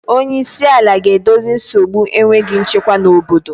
Onye isi ala ga-edozi nsogbu enweghị nchekwa na obodo